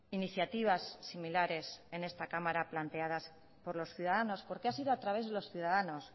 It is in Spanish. iniciativas similares en esta cámara planteadas por los ciudadanos porque ha sido a través de los ciudadanos